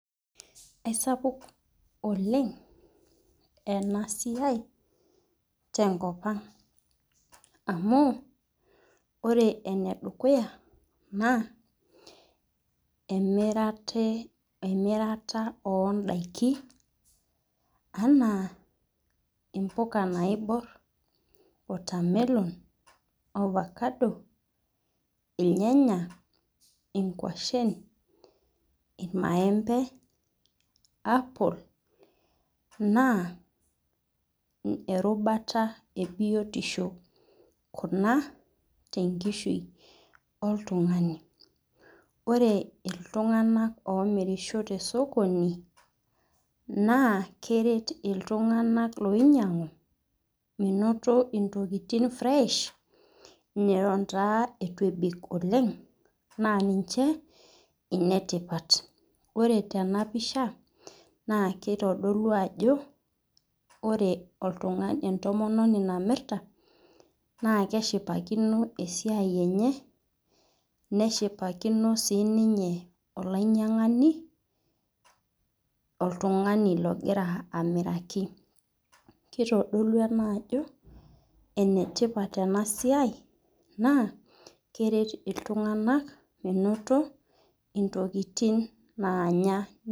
aisapuk oleng ena siai tenkop anga amu, ore ene dukuya na emirata odaiki, ana impuka naibor, watermelon, ovacado, ilnyanya, ingwashen, ilmaembe, apple, na erubata ebiotisho kuna tenkishui oltungani, ore iltungana omirisho tosokoni na keret iltunganak oinyiangu menoto intokitin fresh, neton taa etu ebik oleng, na ninche inetipat, ore tena picha na kidolu ajo ore olt entomononi namirta na keshipakino esiai enye, neshipakino sininye olainyiangani, oltungani longira amiraki, kitodolu ena ajo enetipat ena siai na keret iltungana menoto intokitin nanyaa.